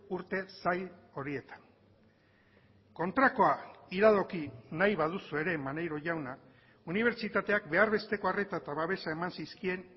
urte zail horietan kontrakoa iradoki nahi baduzue ere maneiro jauna unibertsitateak behar besteko arreta eta babesa eman zizkien